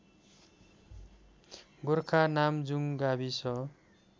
गोरखा नामजुङ गाविस